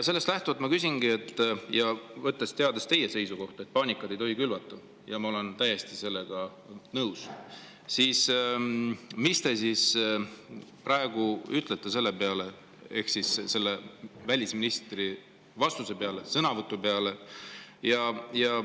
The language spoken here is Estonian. Sellest lähtuvalt ja teades teie seisukohta, et paanikat ei tohi külvata – ja ma olen täiesti sellega nõus –, ma küsingi: mis te praegu ütlete selle peale ehk siis selle välisministri vastuse peale, sõnavõtu peale?